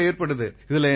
கண்டிப்பா ஏற்படுது